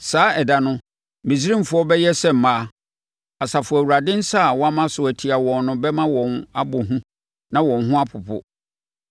Saa ɛda no, Misraimfoɔ bɛyɛ sɛ mmaa, Asafo Awurade nsa a wama so atia wɔn no bɛma wɔn abɔ hu na wɔn ho apopo.